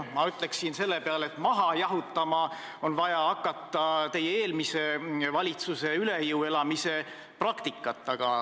Ma ütleksin selle peale, et maha jahutama on vaja hakata teie eelmise valitsuse üle jõu elamise praktikat.